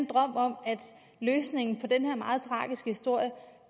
drøm om at løsningen på den her meget tragiske historie